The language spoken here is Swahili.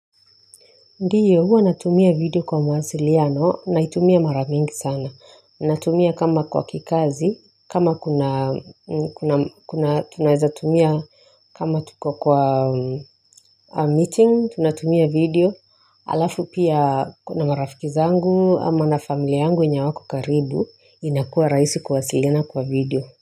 Ndio huwa natumia video kwa mawasiliano naitumia mara mingi sana. Natumia kama kwa kikazi, kama tunazaetumia kama tuko kwa meeting, tunatumia video, alafu pia kuna marafiki zangu ama na familia yangu wenye hawako karibu inakuwa raisi kuwasilina kwa video.